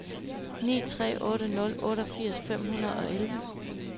ni tre otte nul otteogfirs fem hundrede og elleve